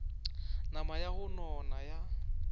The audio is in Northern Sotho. nama ya go nona ya